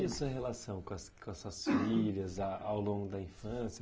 E a sua relação com as com as suas filhas a ao longo da infância?